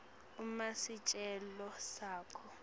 uma sicelo sakho